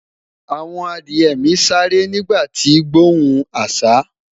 àwọn Adiye mi sááre nígbà ti gbohùn asa